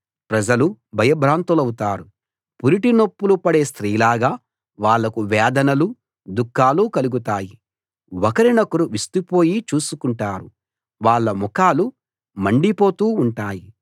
ప్రజలు భయభ్రాంతులౌతారు పురిటినొప్పులు పడే స్త్రీలాగా వాళ్లకు వేదనలు దుఃఖాలు కలుగుతాయి ఒకరినొకరు విస్తుపోయి చూసుకుంటారు వాళ్ళ ముఖాలు మండిపోతూ ఉంటాయి